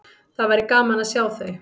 Það væri gaman að sjá þau.